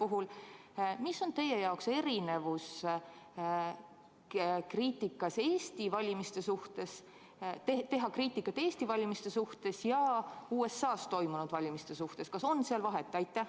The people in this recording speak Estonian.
Milles on teie jaoks erinevus, kui teha kriitikat Eesti valimiste suhtes ja USA-s toimunud valimiste suhtes – kas on seal vahet?